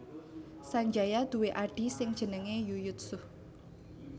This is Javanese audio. Sanjaya duwé adhi sing jenenge Yuyutsuh